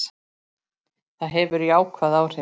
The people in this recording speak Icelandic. Það hefur jákvæð áhrif.